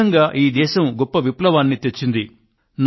ఈ విధంగా ఈ దేశం గొప్ప విప్లవాన్ని తెచ్చింది